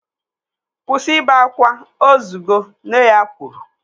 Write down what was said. Kwụsị ibe akwa, ozugo! Nne ya kwuru